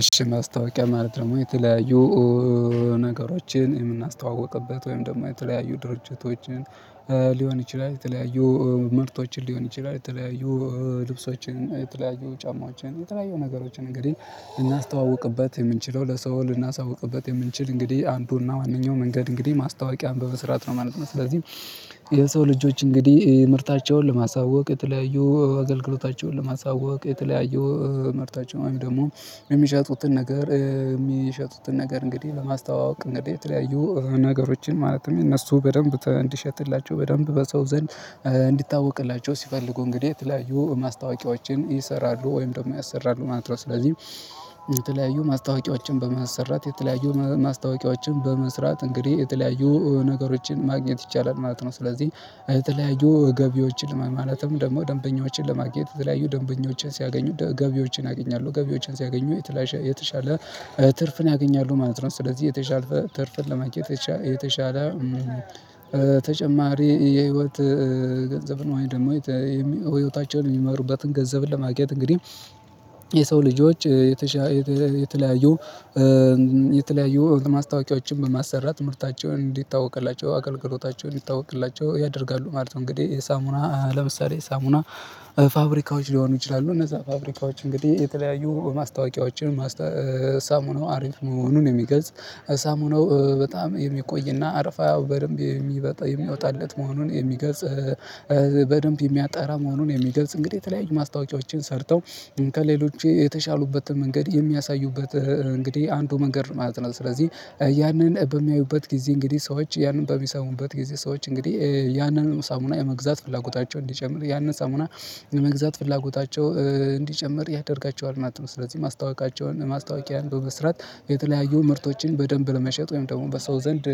እሺ ማስታወቂያ ማለት ደግሞ የተለያዩ ነገሮችን የምናስተዋውቅበት ወይም ደግሞ የተለያዩ ድርጅቶችን ሊሆን ይችላል። የተለያዩ ምርቶችን ሊሆን ይችላል። የተለያዩ ልብሶችን፣ የተለያዩ ጫማዎችን፣ የተለያዩ ነገሮችን እንግዲህ ልናስተዋውቅበት የምንችለው ለሰው ልናሳውቅበት የምንችል እንግዲህ አንዱና ዋነኛው መንገድ እንግዲህ ማስታወቂያን በመስራት ነው ማለት ነው። ስለዚህ የሰው ልጆች እንግዲህ ምርታቸውን ለማሳወቅ የተለያዩ አገልግሎታቸውን ለማሳወቅ የተለያዩ ምርታቸው ወይም ደግሞ የሚሸጡትን ነገር የሚሸጡትን ነገር እንግዲህ በማስታወቂያ እንግዲህ የተለያዩ ነገሮችን ማለትም እነሱ በደንብ እንዲሸጥላቸው በደንብ በሰው ዘንድ እንዲታወቅላቸው ሲፈልጉ እንግዲህ የተለያዩ ማስታወቂያዎችን ይሰራሉ ወይም ደግሞ ያሰራሉ ማለት ነው። ስለዚህ የተለያዩ ማስታወቂያዎችን በማሰራት የተለያዩ ማስታወቂያዎችን በመስራት እንግዲህ የተለያዩ ነገሮችን ማግኘት ይቻላል ማለት ነው ስለዚህ የተለያዩ ገቢዎችን ማለትም ደግሞ ደንበኞችን ለማግኘት የተለያዩ ደንበኞችን ሲያገኙ ገቢዎችን ያገኛሉ፤ ገቢዎችን ሲያገኙ የተሻለ ትርፍን ያገኛሉ ማለት ነው። ስለዚህ የተሻለ ትርፍን ለማየት የተሻለ ተጨማሪ የህይወት ገንዘብን ወይም ደግሞ ህይወታቸውን የሚመሩበትን ገንዘብ ለማግኘት እንግዲህ የሰው ልጆች የተሻ የተለያዩ የተለያዩ ማስታወቂያዎችን በማሰራት ምርታቸውን እንዲታወቅላቸው አገልግሎታቸውን ይታወቅላቸው ያደርጋሉ ማለት ነው። እንግዲህ የሳሙና ለምሳሌ የሳሙና ፋብሪካዎች ሊሆኑ ይችላሉ። እነዛ ፋብሪካዎች እንግዲህ የተለያዩ ማስታወቂያዎችን ሳሙናው አሪፍ መሆኑን የሚገልጽ ሳሙናው በጣም የሚቆይና አረፋያው በደንብ የሚበጣ የሚወጣለት መሆኑን የሚገጽ በደንብ የሚያጣራ መሆኑን የሚገልጽ እንግዲህ የተለያዩ ማስታወቂያዎችን ሰርተው ከሌሎች የተሻሉበትን መንገድ የሚያሳዩበት እንግዲህ አንዱ መንገድ ማለት ነው። ስለዚህ ያንን በሚያዩበት ጊዜ እንግዲህ ሰዎች ያንን በሚሰሙበት ጊዜ ሰዎች እንግዲህ ያንን ሳሙና የመግዛት ፍላጎታቸው እንዲጨምር ያንን ሳሙና የመግዛት ፍላጎታቸው እንዲጨምር ያደርጋቸዋል ማለት ነው። ስለዚህ ማስታወቂያቸውን ማስታወቂያን በስራት የተለያዩ ምርቶችን በደንብ ለመሸጥ ወይም ደግሞ በሰው ዘንድ